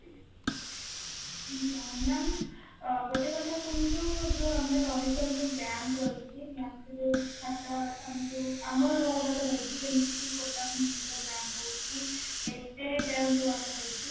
ma, am ଗୋଟେ କଥା କୁହନ୍ତୁ ଯେ ଆମେ ରହିଚେ ଯୋଉ bank ରହିଛି bank ର ଯୋଉ ଖାତା ତାଙ୍କୁ ଆମର ଯୋଉ ଗୁଡାକ ରହିଛି ଯେମିତିକି kotak mahindra bank ହଉ କି SBI bank ଯୋଉ ଆମର ରହିଛି